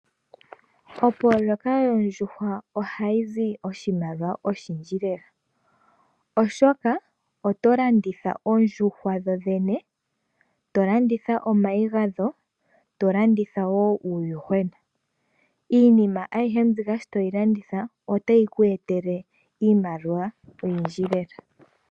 Opoloyeka yoondjuhwa ohayi zi oshimaliwa oshindji lela, oshoka oto landitha oondjuhwa dho dhene, to landitha omayi gadho ngoye to landitha wo uuyuhwena. Iinima ayihe mbika sho toyi landitha otayi kweetele iimaliwa oyindji lela.